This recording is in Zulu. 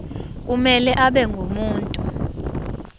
kumele abe ngumuntu